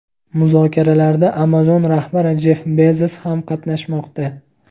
Muzokaralarda Amazon rahbari Jeff Bezos ham qatnashmoqda.